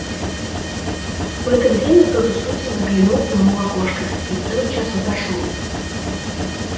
в это время кто-то с улицы заглянул к нему в окошко и тотчас отошёл